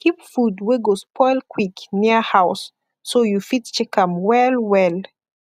keep food wey go spoil quick near house so you fit check am well well